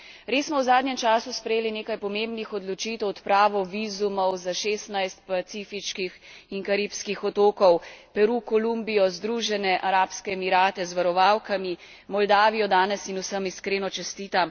Res smo v zadnjem času sprejeli nekaj pomembnih odločitev, odpravo vizumov za šestnajst pacifiških in karibskih otokov, Peru, Kolumbijo, Združene arabske emirate z varovalkami, Moldavijo danes in vsem iskreno čestitam.